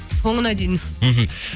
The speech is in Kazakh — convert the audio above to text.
соңына дейін мхм